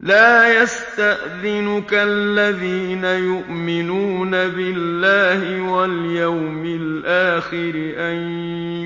لَا يَسْتَأْذِنُكَ الَّذِينَ يُؤْمِنُونَ بِاللَّهِ وَالْيَوْمِ الْآخِرِ أَن